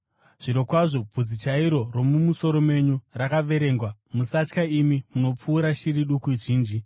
Zvirokwazvo, bvudzi chairo romumusoro menyu rakaverengwa. Musatya, imi munopfuura shiri duku zhinji.